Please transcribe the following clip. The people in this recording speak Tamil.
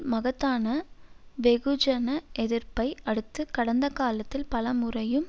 மகத்தான வெகுஜன எதிர்ப்பை அடுத்து கடந்த காலத்தில் பலமுறையும்